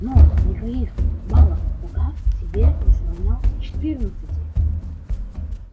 но никаких балов пока тебе не сравнялось четырнадцати